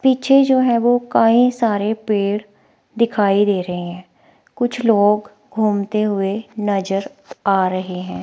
पीछे जो है वो कई सारे पेड़ दिखाई दे रहे है कुछ लोग घूमते हुए नजर आ रहे हैं।